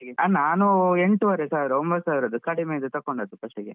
ಹಾ ನಾನು ಎಂಟೂವರೆ ಸಾವರ ಕಡಿಮೆದು ಒಂಬತ್ತು, ಸಾವಿರದು ತಗೊಂಡಿದು first ಗೆ.